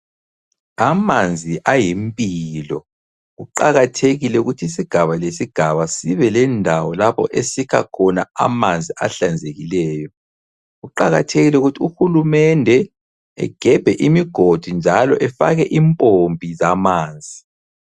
Amanzi ayimpilo, kuqakathekile ukuthi isigaba lesigaba sibe lendawo lapho esikha khona amanzi ahlanzekileyo. Kuqakathekile ukuthi uhulumende egebhe imigodi njalo efake impompi zamanzi.